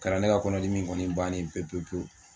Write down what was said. Kɛra ne ka kɔnɔdimi in kɔni bannen ye pewu pewu